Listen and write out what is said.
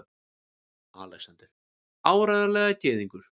ALEXANDER: Áreiðanlega gyðingur!